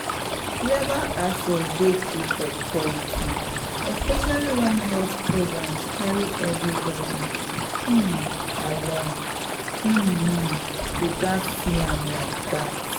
legal access dey key for equality especially when health programs carry everybody um along — um um you gatz see am like that.